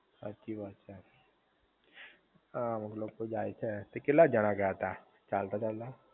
હાચી વાત છે હા અમુક લોકો જાય છે, તે કેટલા જણા ગયા તા ચાલતા ચાલતા?